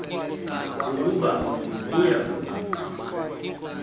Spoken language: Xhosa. ukuba kuya kuba